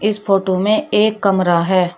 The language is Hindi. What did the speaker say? इस फोटो में एक कमरा है।